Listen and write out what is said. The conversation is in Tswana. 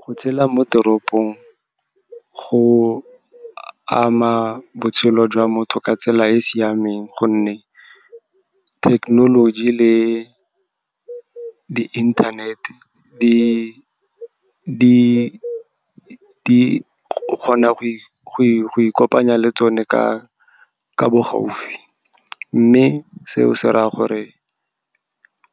Go tshela mo teropong go ama botshelo jwa motho ka tsela e e siameng, gonne thekenoloji le di-inthanete o kgona go ikopanya le tsone ka bo gaufi. Mme seo se raya gore